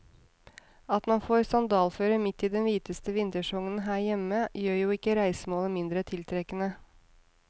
At man får sandalføre midt i den hviteste vintersesongen her hjemme, gjør jo ikke reisemålet mindre tiltrekkende.